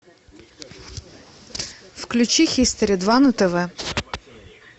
включи хистори два на тв